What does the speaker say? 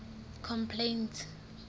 complaints